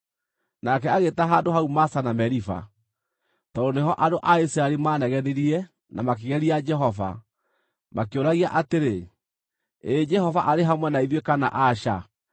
Nake agĩĩta handũ hau Masa na Meriba, tondũ nĩho andũ a Isiraeli maanegenirie na makĩgeria Jehova, makĩũragia atĩrĩ, “Ĩĩ Jehova arĩ hamwe na ithuĩ kana aca?”